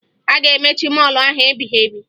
A ga-emechi mọọlụ ahụ ebighebi